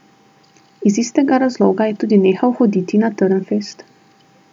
Iz istega razloga je tudi nehal hoditi na Trnfest.